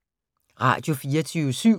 Radio24syv